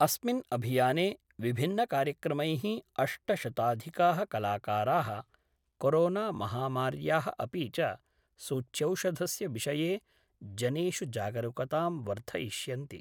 अस्मिन् अभियाने विभिन्नकार्यक्रमैः अष्टशताधिका: कलाकारा: कोरोनामहामार्या: अपि च सूच्यौषधस्य विषये जनेषु जागरुकतां वर्धयिष्यन्ति।